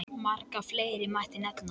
Marga fleiri mætti nefna.